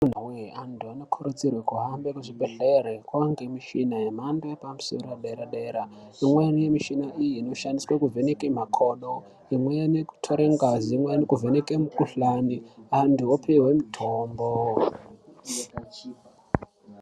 Imiwee antu anokurudzirwe kuhambe kuzvibhedhlere kwaanemichina yemhando yepamosoro yepadera-dera. Imweni michina iyi inoshandiswe kuvheneke makodo, imweni kutore ngazi, imweni kuvheneke mikuhlani, antu opihwe mitombo.